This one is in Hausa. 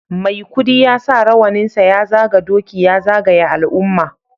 Maikudi ya sa rawaninsa ya zaga doki ya zagaya al'umma